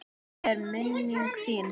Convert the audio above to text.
Blessuð er minning þín.